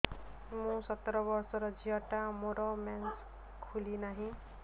ମୁ ସତର ବର୍ଷର ଝିଅ ଟା ମୋର ମେନ୍ସେସ ଖୁଲି ନାହିଁ